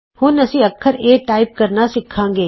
ਹੁਣ ਅਸੀਂ ਅੱਖਰ ਏ ਟਾਈਪ ਕਰਨਾ ਸਿੱਖਾਂਗੇ